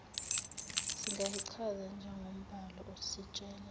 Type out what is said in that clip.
singayichaza njengombhalo ositshela